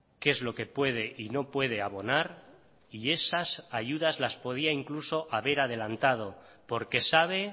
qué es lo que puede y no puede abonar y esas ayudas las podía incluso haber adelantado porque sabe